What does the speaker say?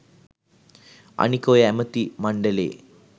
අනික ඔය ඇමති මංඩලේ